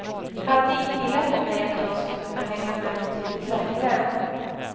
Hade inbillat mig att jag skulle kunna hänga med betydligt längre.